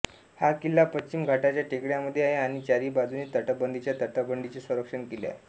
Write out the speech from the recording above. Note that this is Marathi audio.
हा किल्ला पश्चिम घाटाच्या टेकड्यांमध्ये आहे आणि चारी बाजूंनी तटबंदीच्या तटबंदीचे संरक्षण केले आहे